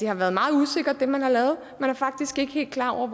har været meget usikkert man er faktisk ikke helt klar over